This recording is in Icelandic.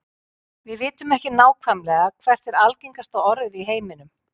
við vitum ekki nákvæmlega hvert er algengasta orðið í heiminum